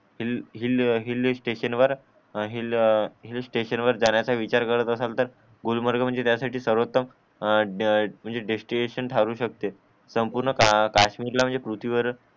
hill hill hill station वर जाण्याचा विचार केरात असलं तर गुलमर्ग म्हणजे त्यासाठी सर्वोत्तम ए ए म्हणजे डेस्टिनेशन ठरवू शकते संपूर्ण काश्मीर ला म्हणजे पृथ्वीवर